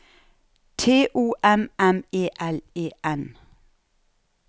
T O M M E L E N